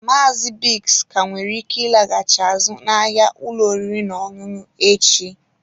Maazị Biggs ka nwere ike ịlaghachi azụ n'ahịa ụlọ oriri n'ọṅụṅụ echi.